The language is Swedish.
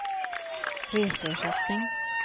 reseersättning